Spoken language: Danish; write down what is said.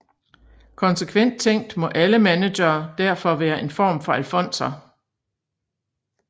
Konsekvent tænkt må alle managere derfor være en form for alfonser